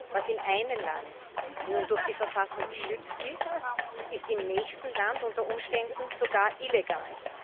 Was in einem Land nun durch die Verfassung geschützt ist, ist im nächsten Land unter Umständen sogar illegal.